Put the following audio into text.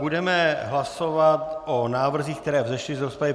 Budeme hlasovat o návrzích, které vzešly z rozpravy.